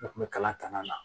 Ne kun bɛ kalan tanana